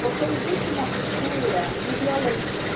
Porque existe uma cultura de violência.